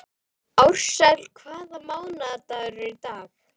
Ársæl, hvaða mánaðardagur er í dag?